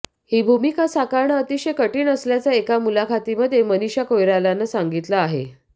ही भूमिका साकारणं अतिशय कठीण असल्याचं एका मुलाखतीमध्ये मनिषा कोईरालानं सांगितलं आहे